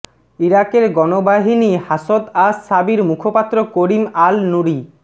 ইরাকের গণবাহিনী Hashd ash Shaabi মুখপাত্র করিম আল নূরি